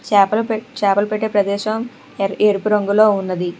చాపలు పెట్ చాపలు పట్టే ప్రదేశం ఎరుపు రంగులో ఉన్నది.